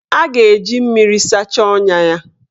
A ga-eji mmiri sachaa ọnya a.